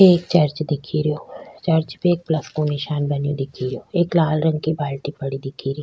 एक चर्च दिखे रो चर्च पे एक प्लस को निशान बने दिखे रो एक लाल रंग की बाल्टी पड़ी दिखे री --